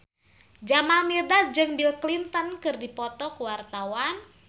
Jamal Mirdad jeung Bill Clinton keur dipoto ku wartawan